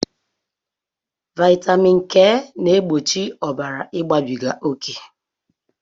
Vitamin K na-egbochi ọbara igbabiga oké